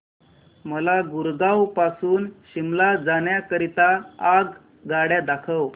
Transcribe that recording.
मला गुरगाव पासून शिमला जाण्या करीता आगगाड्या दाखवा